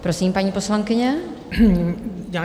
Prosím, paní poslankyně.